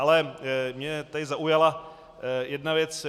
Ale mě tady zaujala jedna věc.